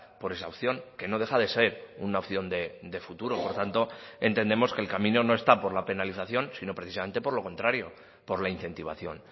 por esa opción que no deja de ser una opción de futuro por tanto entendemos que el camino no está por la penalización sino precisamente por lo contrario por la incentivación